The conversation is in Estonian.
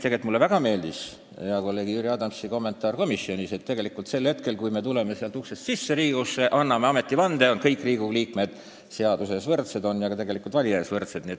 Tegelikult mulle väga meeldis hea kolleegi Jüri Adamsi kommentaar komisjonis, et sel hetkel, kui me tuleme siit saali uksest sisse ja anname ametivande, oleme me Riigikogu liikmetena kõik seaduse ees võrdsed ja ka valija ees võrdsed.